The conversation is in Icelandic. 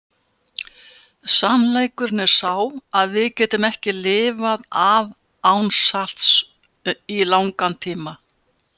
Sannleikurinn er sá að við getum ekki lifað af án salts í langan tíma.